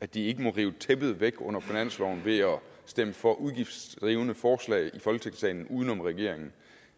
at de ikke må rive tæppet væk under finansloven ved at stemme for udgiftsdrivende forslag i folketingssalen uden om regeringen